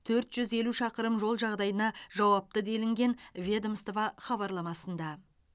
төрт жүз елу шақырым жол жағдайына жауапты делінген ведомство хабарламасында